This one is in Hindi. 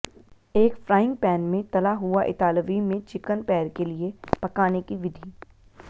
एक फ्राइंग पैन में तला हुआ इतालवी में चिकन पैर के लिए पकाने की विधि